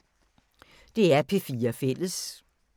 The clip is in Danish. DR P4 Fælles